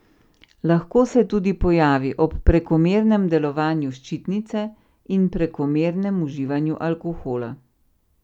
Lahko se tudi pojavi ob prekomernem delovanju ščitnice in prekomernem uživanju alkohola.